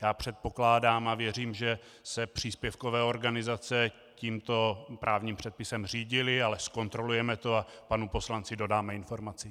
Já předpokládám a věřím, že se příspěvkové organizace tímto právním předpisem řídily, ale zkontrolujeme to a panu poslanci dodáme informaci.